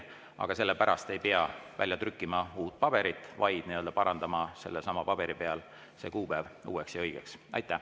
Aga selle pärast ei pea uut paberit välja trükkima, vaid tuleks parandada sellesama paberi peal olev kuupäev uueks ja õigeks.